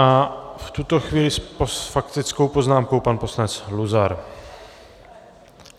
A v tuto chvíli s faktickou poznámkou pan poslanec Luzar.